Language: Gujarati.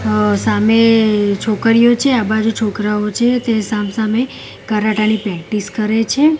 અ સામે છોકરીઓ છે આ બાજુ છોકરાઓ છે તે સામ સામે કરાટા ની પ્રેક્ટિસ કરે છે.